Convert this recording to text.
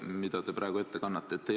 ... mida te praegu ette kannate?